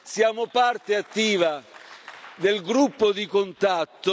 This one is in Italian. Siamo parte attiva del gruppo di contatto